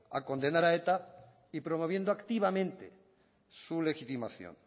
a condenar a eta y promoviendo activamente su legitimación